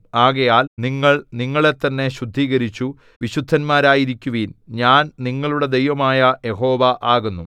ആകയാൽ നിങ്ങൾ നിങ്ങളെത്തന്നെ ശുദ്ധീകരിച്ചു വിശുദ്ധന്മാരായിരിക്കുവിൻ ഞാൻ നിങ്ങളുടെ ദൈവമായ യഹോവ ആകുന്നു